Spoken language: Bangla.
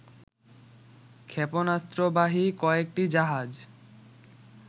ক্ষেপণাস্ত্রবাহী কয়েকটি জাহাজ